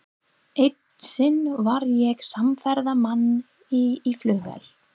Eitt sinn var ég samferða manni í flugvél.